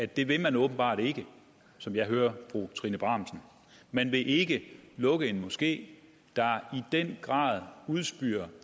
det vil man åbenbart ikke som jeg hører fru trine bramsen man vil ikke lukke en moské der i den grad udspyr